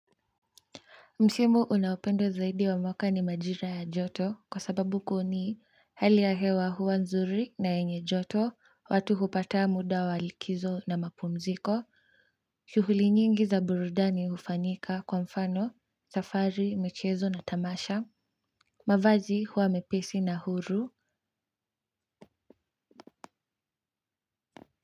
Msimu unaopendwa zaidi wa mwaka ni majira ya joto kwa sababu kuni hali ya hewa huwa nzuri na yenye joto watu hupata muda wa likizo na mapumziko shughuli nyingi za burudani hufanyika kwa mfano safari michezo na tamasha mavazi huwa mepesi na huru.